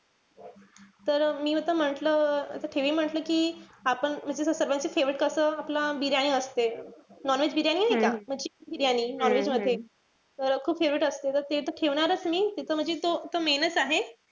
तर मी आता म्हंटल मी म्हंटल कि आपण म्हणजे जर सर्वांचं favorite कसं आपलं बिर्याणी असते. non-veg बिर्याणी नाई का? ती बिर्याणी non-veg मध्ये तर खूप favorite असते. त ते ठेवणारच मी. ते त म्हणजे तो main च आहे.